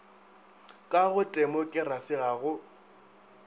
ka go temokerasi ga go